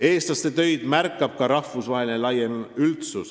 Eestlaste töid märkab ka rahvusvaheline laiem üldsus.